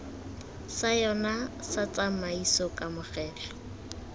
sa yona sa tshiamiso kamogelo